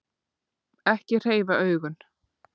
Ekki hreyfa augun.